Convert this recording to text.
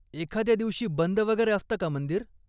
एखाद्या दिवशी बंद वगैरे असतं का मंदिर?